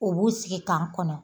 U b'u sigi k'an kɔnɔ